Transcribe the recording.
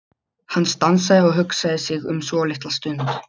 Hann stansaði og hugsaði sig um svolitla stund.